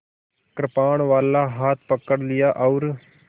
कृपाणवाला हाथ पकड़ लिया और